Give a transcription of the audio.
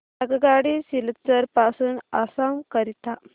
आगगाडी सिलचर पासून आसाम करीता